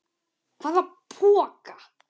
Hvaða poka?